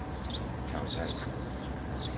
Klaus Hansen